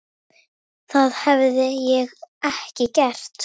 Það hefði ég ekki gert.